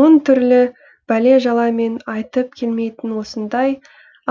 мың түрлі бәле жала мен айтып келмейтін осындай